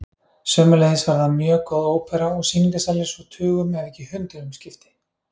Sömuleiðis var þar mjög góð ópera og sýningarsalir svo tugum ef ekki hundruðum skipti.